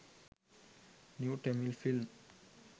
new tamil film